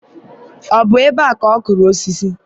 ọ bụ ebe a ka ọ kụrụ osisi?